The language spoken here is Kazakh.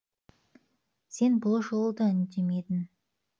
сен бұл жолы да үндемедің